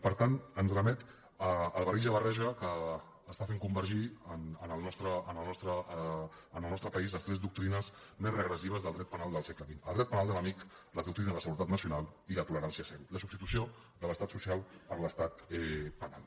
per tant ens remet a la barrija barreja que fa convergir en el nostre país les tres doctrines més regressives del dret penal del segle xx el dret penal de l’enemic la doctrina de la seguretat nacional i la tolerància zero la substitució de l’estat social per l’estat penal